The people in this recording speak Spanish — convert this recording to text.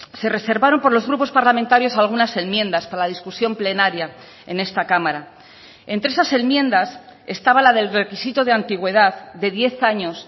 se reservaron por los grupos parlamentarios algunas enmiendas para la discusión plenaria en esta cámara entre esas enmiendas estaba la del requisito de antigüedad de diez años